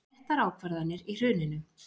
Réttar ákvarðanir í hruninu